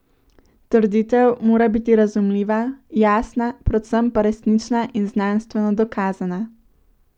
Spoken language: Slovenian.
Trditev mora biti razumljiva, jasna, predvsem pa resnična in znanstveno dokazana.